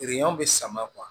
bɛ sama